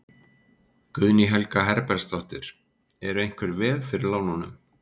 Guðný Helga Herbertsdóttir: Eru einhver veð fyrir lánunum?